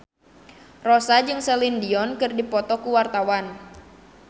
Rossa jeung Celine Dion keur dipoto ku wartawan